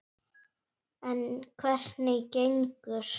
En hvernig gengur?